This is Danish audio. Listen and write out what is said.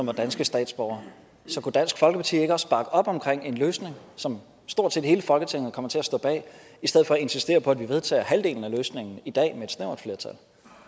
var danske statsborgere så kunne dansk folkeparti ikke også bakke op om en løsning som stort set hele folketinget kommer til at stå bag i stedet for at insistere på at vi vedtager halvdelen af løsningen i dag med et snævert flertal